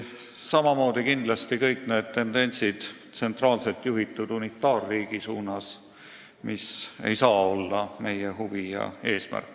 Samamoodi ei saa kindlasti kõik need tendentsid tsentraalselt juhitud unitaarriigi suunas olla meie huvi ega eesmärk.